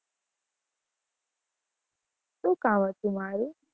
શું કામ હતું મારુ?